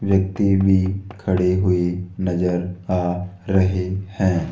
व्यक्ति भी खड़े हुए नजर आ रहे हैं।